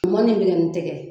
U ma nin minɛ nin tɛgɛ ye.